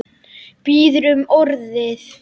Biður um orðið.